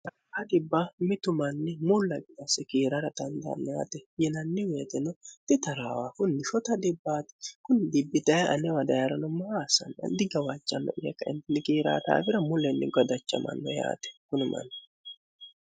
adhibba mitu manni mullaina sikiirara dandaanniaate yinanni weetino titaraawa funnishota dhibbaati kunni dibbitaye alewa daya'ranommohaasani iddi gawaacanno'yeka intiligiiraataawira mullenni godachamanno yaate kunumanni